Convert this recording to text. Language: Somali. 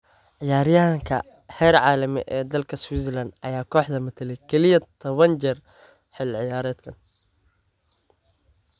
Ciyaaryahanka heerka caalami ee dalka Switzerland ayaa kooxda matalay kaliya toban jeer xilli ciyaareedkan.